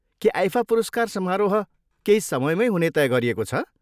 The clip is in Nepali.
के आइफा पुरस्कार समारोह केही समयमैँ हुने तय गरिएको छ?